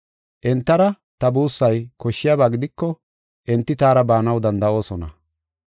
Entara ta buussay koshshiyaba gidiko enti taara baanaw danda7oosona.